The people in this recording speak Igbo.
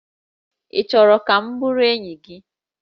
Ị chọrọ ka m bụrụ enyi gị?